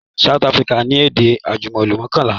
South Africa ni èdè àjùmọ̀lò mọ́kànlá